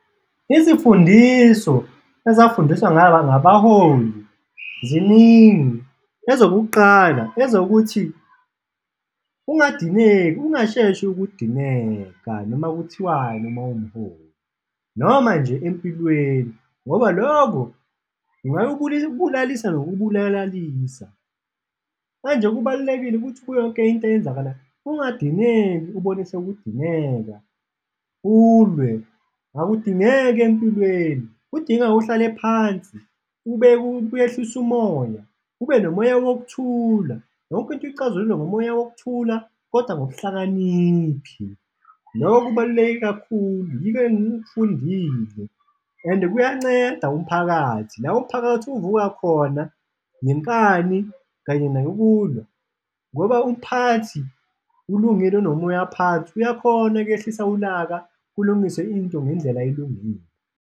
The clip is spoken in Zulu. Izifundiso ezafundiswa ngabaholi ziningi, ezokuqala ezokuthi ungadineki, ungasheshi ukudineka noma kuthiwani ma uwumholi noma nje empilweni ngoba loko kungakubulalisa nokubulalalisa. Manje kubalulekile ukuthi kuyo yonke into eyenzakalayo ungadineki, ubonise ukudineka ulwe, akudingeki empilweni, kudinga uhlale phansi uyehlise umoya, ube nomoya wokuthula. Yonke into ixazululwa ngomoya wokuthula kodwa ngobuhlakaniphi, loko kubaluleke kakhulu, yikho engikufundile and-e kuyanceda umphakathi, la umphakathi uvuka khona ngenkani kanye nokulwa ngoba umphakathi ulungile unomoya phansi, uyakhona kuyehlisa ulaka kulungiswe into ngendlela elungile.